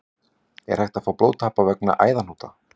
Er hægt að fá blóðtappa vegna æðahnúta?